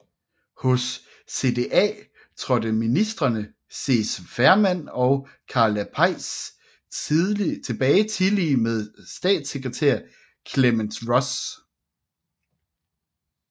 Hos CDA trådte ministreme Cees Veerman og Karla Peijs tilbage tillige med statssekretær Clemence Ross